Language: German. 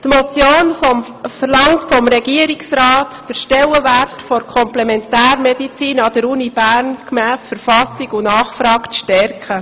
Die Motion verlangt vom Regierungsrat, den Stellenwert der Komplementärmedizin an der Universität Bern gemäss Verfassung und Nachfrage zu stärken.